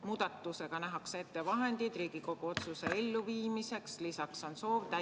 Muudatusega nähakse ette vahendid Riigikogu otsuse elluviimiseks 2021. aastal.